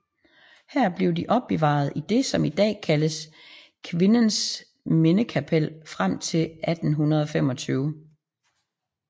Her blev de opbevaret i det som i dag kaldes Kvinnenes Minnekapell frem til 1825